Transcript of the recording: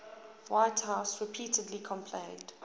whitehouse repeatedly complained